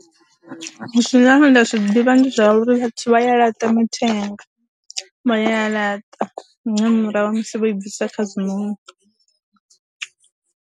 Zwine nda zwi ḓivha ndi zwa uri vhathu vha ya laṱa mathenga, vha ya laṱa nga murahu ha musi vho i bvisa kha zwinoni.